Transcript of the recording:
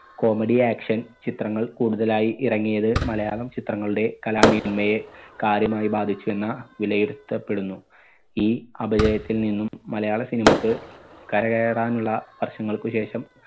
Comedy action ചിത്രങ്ങൾ കൂടുതലായി ഇറങ്ങിയത് മലയാളം ചിത്രങ്ങളുടെ കലാമേന്മയെ കാര്യമായി ബാധിച്ചു എന്ന വിലയിരുത്തപ്പെടുന്നു. ഈ അപജയത്തിൽ നിന്നും മലയാള cinema ക്ക് കരകേറാൻ ഉള്ള വർഷങ്ങൾക്കു ശേഷം